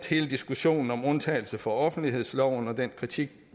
hele diskussionen om undtagelse fra offentlighedsloven og den kritik